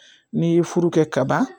N'i ye furu kɛ kaban